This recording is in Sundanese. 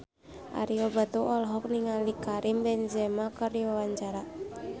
Ario Batu olohok ningali Karim Benzema keur diwawancara